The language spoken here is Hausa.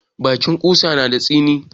Bakin ƙusa na da tsini.